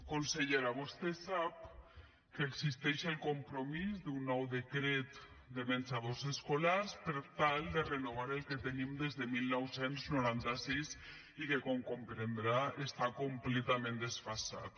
consellera vostè sap que existeix el compromís d’un nou decret de menjadors escolars per tal de renovar el que tenim des de dinou noranta sis i que com comprendrà està completament desfasat